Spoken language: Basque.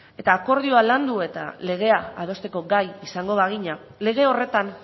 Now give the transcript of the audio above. eta akordioa landu eta legea adosteko gai izango bagina lege horretan